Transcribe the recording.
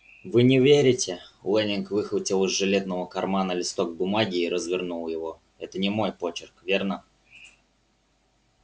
вы не верите лэннинг выхватил из жилетного кармана листок бумаги и развернул его это не мой почерк верно